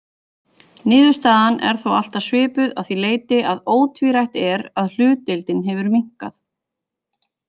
Niðurstaðan er þó alltaf svipuð að því leyti að ótvírætt er að hlutdeildin hefur minnkað.